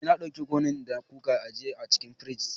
Eh na dauki kunu da kuka ajiye a cikin firij.